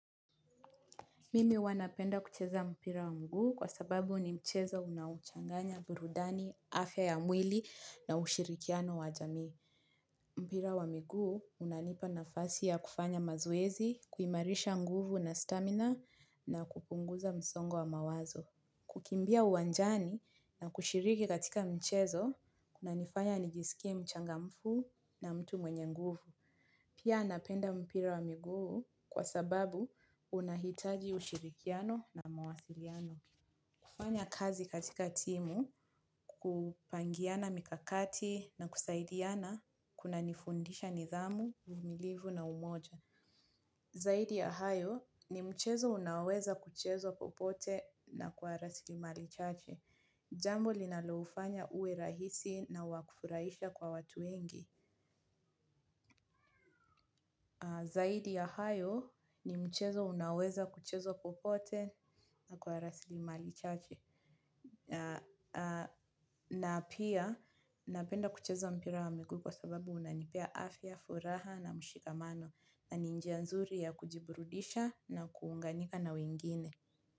Mimi huwa napenda kucheza mpira wa mguu kwa sababu ni mchezo unaochanganya burudani, afya ya mwili na ushirikiano wa jamii. Mpira wa mguu unanipa nafasi ya kufanya mazoezi, kuimarisha nguvu na stamina na kupunguza msongo wa mawazo. Kukimbia uwanjani na kushiriki katika mchezo, kunanifanya nijisikie mchangamfu na mtu mwenye nguvu. Pia napenda mpira wa miguu kwa sababu unahitaji ushirikiano na mawasiliano. Kufanya kazi katika timu kupangiana mikakati na kusaidiana kunanifundisha nidhamu, uvimilivu na umoja. Zaidi ya hayo ni mchezo unaoweza kuchezwa popote na kwa rasilimali chache. Jambo linalofanya uwe rahisi na wa kufurahisha kwa watu wengi. Zaidi ya hayo ni mchezo unaoweza kuchezwa popote na kwa rasilimali chache. Na pia napenda kucheza mpira wa miguu kwa sababu unanipea afya, furaha na mshikamano na ni njia nzuri ya kujiburudisha na kuunganika na wengine.